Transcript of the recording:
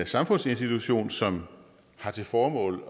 samfundsinstitution som har til formål